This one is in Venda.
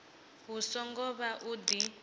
hu songo vha u di